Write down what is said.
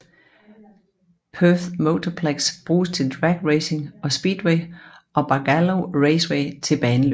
Perth Motorplex bruges til drag racing og speedway og Barbagallo Raceway til baneløb